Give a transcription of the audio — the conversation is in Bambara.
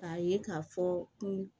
K'a ye k'a fɔ ko